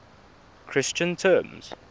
christian terms